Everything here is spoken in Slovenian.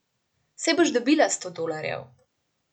Sej boš dobila sto dolarjev!